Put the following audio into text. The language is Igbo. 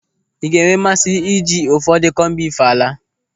Ị ga-enwe mmasị ije ụfọdụ kọmbif álà?